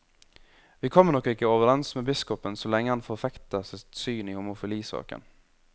Vi kommer nok ikke overens med biskopen så lenge han forfekter sitt syn i homofilisaken.